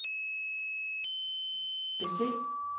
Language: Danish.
bese